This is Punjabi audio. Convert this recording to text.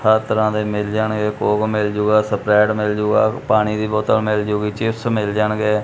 ਹਰ ਤਰ੍ਹਾਂ ਦੇ ਮਿਲ ਜਾਣਗੇ ਕੋਕ ਮਿਲ ਜੂਗਾ ਸਪਰੈਟ ਮਿਲ ਜੂਗਾ ਪਾਣੀ ਦੀ ਬੋਤਲ ਮਿਲ ਜਾਊਗੀ ਚਿਪਸ ਮਿਲ ਜਾਣਗੇ।